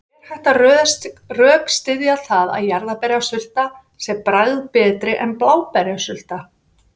Er hægt að rökstyðja það að jarðarberjasulta sé bragðbetri en bláberjasulta?